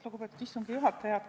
Lugupeetud istungi juhataja!